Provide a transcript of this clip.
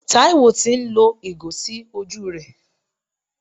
Taiwo tì ń lo ìgò sí ojú rẹ.